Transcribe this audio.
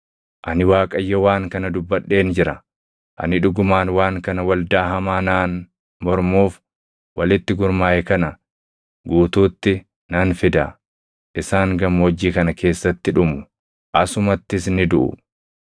Ani Waaqayyo waan kana dubbadheen jira; ani dhugumaan waan kana waldaa hamaa naan mormuuf walitti gurmaaʼe kana guutuutti nan fida. Isaan gammoojjii kana keessatti dhumu; asumattis ni duʼu.”